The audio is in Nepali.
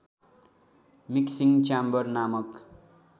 मिक्सिङ च्याम्बर नामक